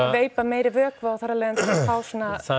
veipa meiri vökva og þar af leiðandi fá svona